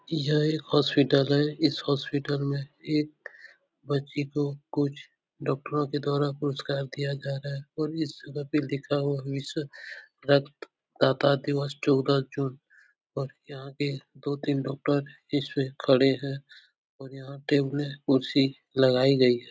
यह एक हॉस्पिटल है। इस हॉस्पिटल में एक बच्ची को कुछ डॉक्टरों के द्वारा पुरस्कार दिया जा रहा है और इस जगह पे लिखा हुआ रक्तदाता दिवस चौदह जून और यहाँ के दो-तीन डॉक्टर इसपे खड़े हैं और यहाँ टेबलें कुर्सी लगाई गई है।